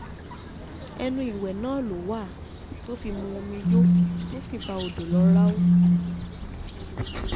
ẹnu ìwé náà ló wà ló wà tó fi mu omi yó tó sì bá odò lọ ráú